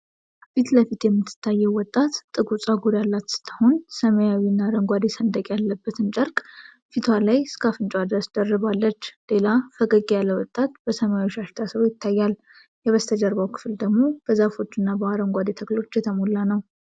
ፊትለፊት የምትታየው ወጣት ጥቁር ፀጉር ያላት ስትሆን፣ ሰማያዊና አረንጓዴ ሰንደቅ ያለበትን ጨርቅ ፊቷ ላይ እስከ አፍንጫዋ ድረስ ደርባለች። ሌላ ፈገግ ያለ ወጣት በሰማያዊ ሻሽ ታስሮ ይታያል። የበስተጀርባው ክፍል ደግሞ በዛፎችና በአረንጓዴ ተክሎች የተሞላ ነው። (